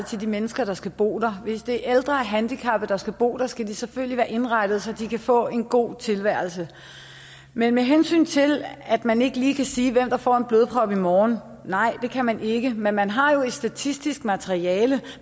til de mennesker der skal bo der hvis det er ældre og handicappede der skal bo der skal boligerne selvfølgelig være indrettet så de kan få en god tilværelse men med hensyn til at man ikke lige kan sige hvem der får en blodprop i morgen så nej det kan man ikke men man har jo et statistisk materiale